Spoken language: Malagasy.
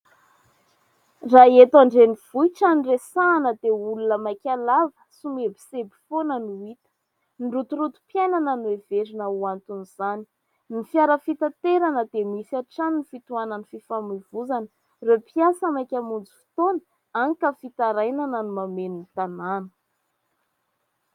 Raha eto an-drenivohitra no resahina diaolona maika lava ny mihebohebo foana no hita. Ny rotorotom-piainana no heverina ho anton'izany. Ireo fiara fitatereana dia misy hatrany fitohanan'ny fifamoivoizana. Ireo mpiasa maika hamonjy fotoana hany ka fitarainana no mameno ny tanana.